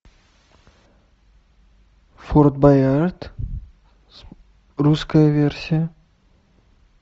форт боярд русская версия